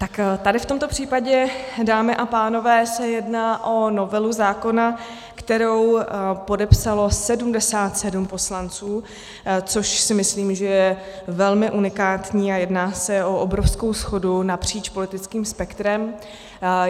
Tak tady v tomto případě, dámy a pánové, se jedná o novelu zákona, kterou podepsalo 77 poslanců, což si myslím, že je velmi unikátní a jedná se o obrovskou shodu napříč politickým spektrem.